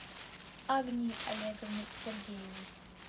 агнии олеговны сергеевой